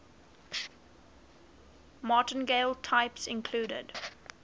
martingale types include